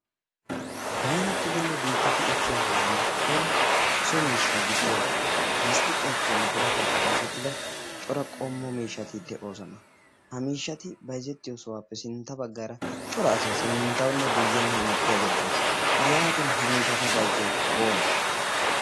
baanattidinne biittati ekkiya sohuwan cora so miishsha gidiya lasttiqqiyaappenne birataappe oosettida cora qommo miihatid de'oosana. ha miishati bayzzettiyo sohuwaappe sintta baggaara cora asay sinttawunne guyyenne hem ettiyaagee de'ees'. yaatin ha miishata bayzzeyoonee